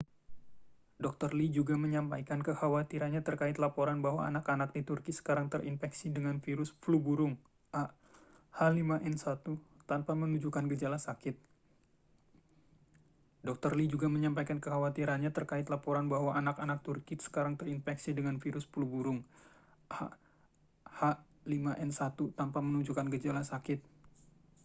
dr. lee juga menyampaikan kekhawatirannya terkait laporan bahwa anak-anak di turki sekarang terinfeksi dengan virus flu burung ah5n1 tanpa menunjukkan gejala sakit